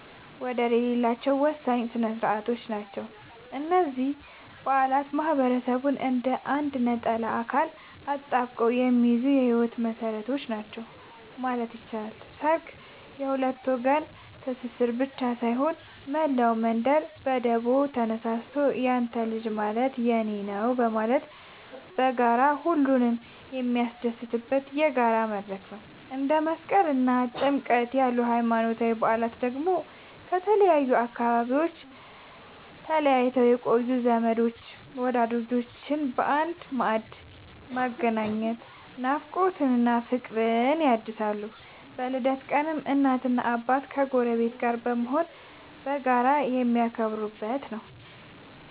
ወደር የሌላቸው ወሳኝ ሥነ ሥርዓቶች ናቸው። እነዚህ በዓላት ማህበረሰቡን እንደ አንድ ነጠላ አካል አጣብቀው የሚይዙ የህይወት መሰረቶች ናቸው ማለት ይቻላል። ሠርግ የሁለት ወገን ትስስር ብቻ ሳይሆን፣ መላው መንደር በደቦ ተነሳስቶ ያንተ ልጅ ማለት የኔ ነዉ በማለት በጋራ ሁሉንም የሚያስደስትበት የጋራ መድረክ ነው። እንደ መስቀልና ጥምቀት ያሉ ሃይማኖታዊ በዓላት ደግሞ ከተለያዩ አካባቢዎች ተለይተው የቆዩ ዘመዶችንና ወዳጆችን በአንድ ማዕድ በማገናኘት ናፍቆትን እና ፍቅርን ያድሳሉ። በልደት ቀንም እናትና አባት ከጎረቤት ጋር በመሆን በጋራ የሚያከብሩት ነዉ።